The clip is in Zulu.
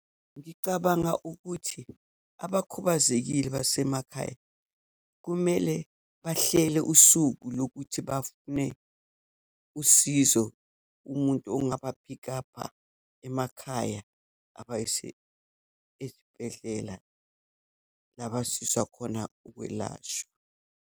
Ngicabanga ukuthi abakhubazekile basemakhaya, kumele bahlele usuku lokuthi bafune usizo kumuntu ongaba pick up-ha emakhaya, abayise esibhedlela, labasizwa khona ukwelashwa.